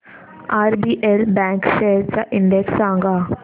RBL bank shares चा index सांगा